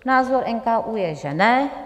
Názor NKÚ je, že ne.